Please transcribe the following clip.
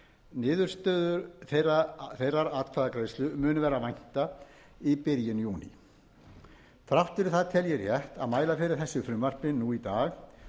niðurstöðu þeirrar atkvæðagreiðslu mun vera að vænta í byrjun júní þrátt fyrir það tel ég rétt að mæla fyrir þessu frumvarpi nú í dag